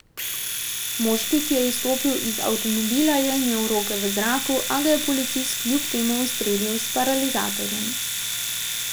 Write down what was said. Moški, ki je izstopil iz avtomobila, je imel roke v zraku, a ga je policist kljub temu ustrelil s paralizatorjem.